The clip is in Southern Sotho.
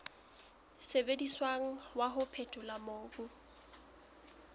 sebediswang wa ho phethola mobu